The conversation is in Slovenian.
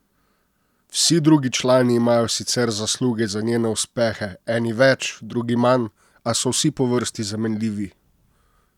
Vsi drugi člani imajo sicer zasluge za njene uspehe, eni več, drugi manj, a so vsi po vrsti zamenljivi!